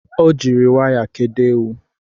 Ọ jiri waya kedo ewu